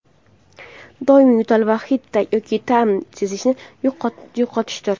doimiy yo‘tal va hid yoki ta’m sezishni yo‘qotishdir.